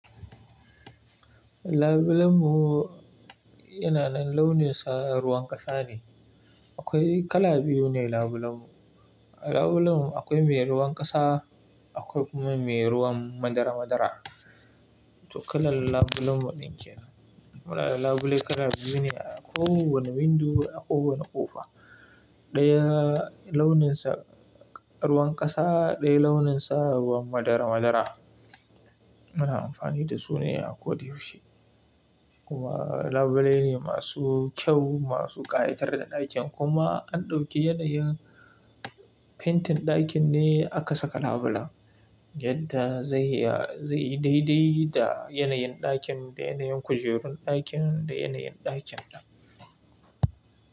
Labulenmu yana nan launinsa ruwan ƙasa ne. Akwai kala biyu ne labulenmu. A labulenmu akwai me ruwan ƙasa, akwai kuma me ruwan madara-madara. To kalan labulenmu din kenan. Muna da labulai kala biyu ne a kowane windo, a kowane ƙofa. Ɗaya launinsa ruwan ƙasa, ɗaya launinsa ruwan madara-madara. Muna amfani da su ne a kodayaushe. Kuma labulai ne masu kyau, masu ƙayatar da ɗakin. Kuma an ɗauki yanayin fentin ɗakin ne aka saka labula, yadda zai yi, zai yi daidai da yanayin ɗakin, da yanayin kujerun ɗakin, da yanayin ɗakin.